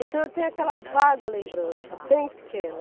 Então eu tenho aquela vaga lembrança, bem pequena.